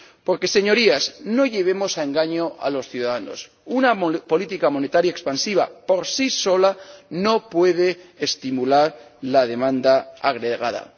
Porque, Señorías, no llevemos a engaño a los ciudadanos una política monetaria expansiva por sí sola no puede estimular la demanda agregada.